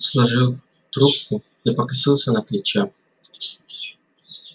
сложив трубку я покосился на плечо